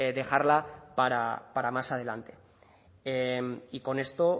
dejarla para más adelante y con esto